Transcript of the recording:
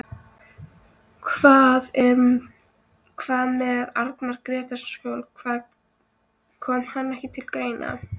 Hvað með Arnar Grétarsson, kom hann ekki til greina?